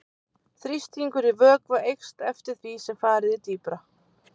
Þrýstingur í vökva eykst eftir því sem farið er dýpra.